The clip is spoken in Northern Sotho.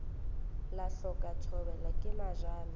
la hloka thobela ke mojano